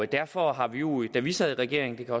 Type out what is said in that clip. derfor har vi jo da vi sad i regering det kan